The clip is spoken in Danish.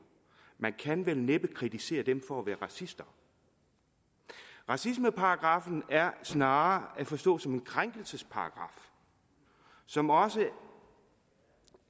man kan vel næppe kritisere dem for at være racister racismeparagraffen er snarere at forstå som en krænkelsesparagraf som også